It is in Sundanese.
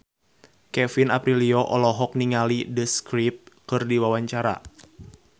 Kevin Aprilio olohok ningali The Script keur diwawancara